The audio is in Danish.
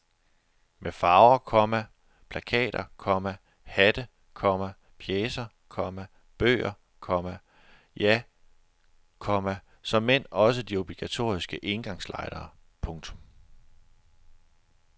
Med farver, komma plakater, komma hatte, komma pjecer, komma bøger, komma ja, komma såmænd også de obligatoriske engangslightere. punktum